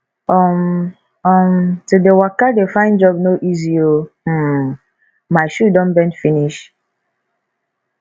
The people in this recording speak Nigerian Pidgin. um um to dey waka dey find job no easy o um my shoe don bend finish